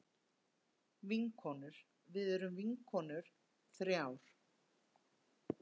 Vinkonur við erum vinkonur þrjár.